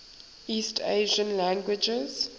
east asian languages